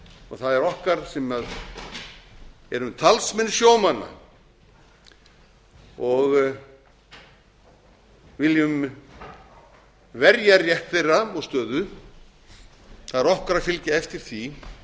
og það er okkar sem erum talsmenn sjómanna og viljum verja rétt þeirra og stöðu það er okkar að fylgja eftir því